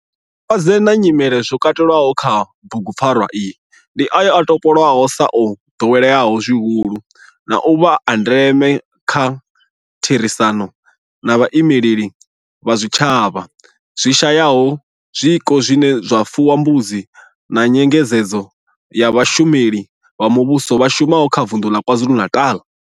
Malwadze na nyimele zwo katelwaho kha bugupfarwa iyi ndi ayo o topolwaho sa o doweleaho zwihulu na u vha a ndeme nga kha therisano na vhaimeleli vha zwitshavha zwi shayaho zwiko zwine zwa fuwa mbudzi na nyengedzedzo ya vhashumeli vha muvhusho vha shumaho kha Vundu la KwaZulu-Natal.